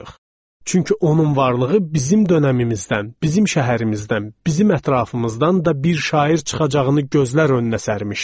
Çünki onun varlığı bizim dövrümüzdən, bizim şəhərimizdən, bizim ətrafımızdan da bir şair çıxacağını gözlər önünə sərmişdi.